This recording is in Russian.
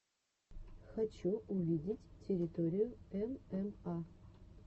хочу увидеть территорию мма